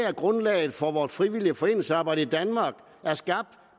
at grundlaget for vores frivillige foreningsarbejde i danmark er skabt